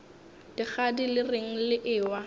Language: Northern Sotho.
dikgadi le reng le ewa